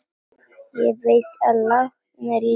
Ég veit að látnir lifa.